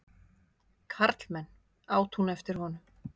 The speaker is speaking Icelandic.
Karlmenn! át hún eftir honum.